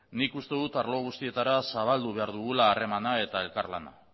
nik uste dut arlo guztietara zabaldu behar dugula harremana eta elkar lana